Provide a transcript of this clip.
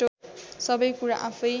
सबै कुरा आफैँ